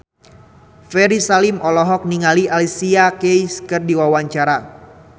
Ferry Salim olohok ningali Alicia Keys keur diwawancara